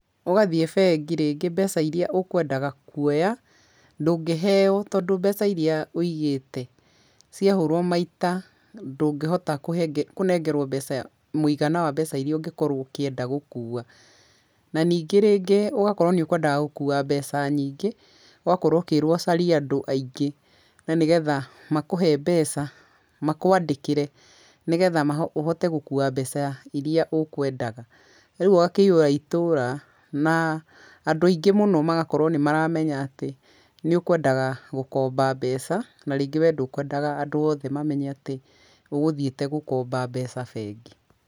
Ũgathiĩ bengi rĩngĩ mbeca iria ũkwendaga kuoya ndũngĩheyo tondũ mbeca iria wĩigĩte ciahũrwo maita ndũngĩhota kũnengerwo mbeca mũigana wa mbeca iria ũngĩkorwo ũkĩenda gũkua. Na ningĩ rĩngĩ ũgakorwo nĩũ kwendaga gũkua mbeca nyingĩ, ũgakorwo ũkĩrwo ũcarie andũ aingĩ, na nĩgetha makũhe mbeca, makwandĩkĩre nĩgetha ũhote gũkua mbeca iria ũkwendaga. Rĩu ũgakĩihũra itũũra na andũ aingĩ mũno magakorwo nĩmaramenya atĩ nĩũkwendaga gũkomba mbeca, na rĩngĩ we ndũkwendaga andũ othe mamenye atĩ ũgũthiĩte gũkomba mbeca bengi.